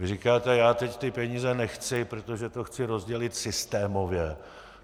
Vy říkáte: Já teď ty peníze nechci, protože to chci rozdělit systémově.